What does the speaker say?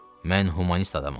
Mən humanist adamam.